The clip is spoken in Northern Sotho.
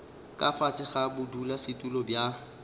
ka fase ga bodulasetulo bja